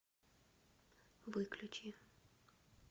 выключи